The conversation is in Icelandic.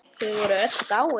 Þau voru öll dáin.